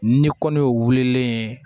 Ni kɔni y'o wulilen ye